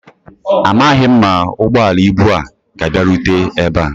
Amaghị m ma ụgbọala ibu a ga abia rute ebe a